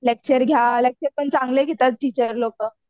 lecture घ्या lecture पण चांगले घेतात टीचर लोकं